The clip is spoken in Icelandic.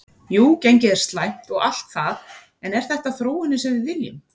Jú gengið er slæmt og allt það en er þetta þróunin sem við viljum?